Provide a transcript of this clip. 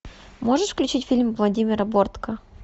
можешь включить фильм владимира бортко